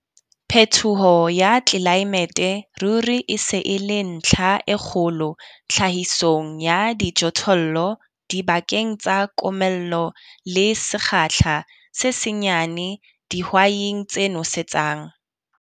PHETOHO YA TLELAEMETE RURI E SE E LE NTLHA E KGOLO TLHAHISONG YA DIJOTHOLLO DIBAKENG TSA KOMELLO LE SEKGAHLA SE SENYANE DIHWAIING TSE NOSETSANG.